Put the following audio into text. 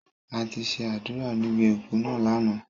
A ti ṣe àdúrà níbi òku náà lánàá.